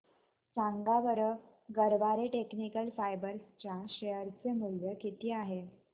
सांगा बरं Garware technical fibres च्या शेअर चे मूल्य किती आहे